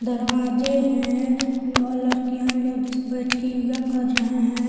दरवाजे हैं बहुत लड़कियां लेडीज बैठ के यहां योगा कर रहे हैं।